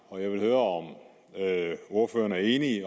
og jeg vil høre om ordføreren er enig i